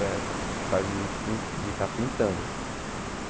É por causa de pin de estar pintando.